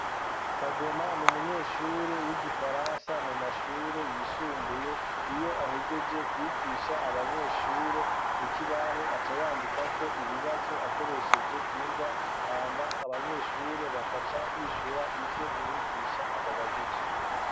Kagoma ni umunyeshure w'igifaransa mu mashure yisumbuye iyo ahejeje kwigisha abanyeshure kuki ibaho aca yandika ko ibibazo akoresheje ingwa hama abanyeshure bakaca bishura ivyo umwigisha ababajije.